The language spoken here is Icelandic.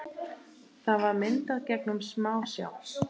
Það var myndað gegnum smásjá.